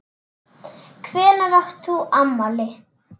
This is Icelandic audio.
Hvenær átt þú afmæli?